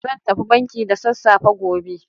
Zan tafi banki da sassafe gobe.